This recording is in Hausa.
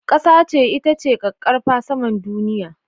Ƙasa ita ce ƙaƙƙarfan saman duniya.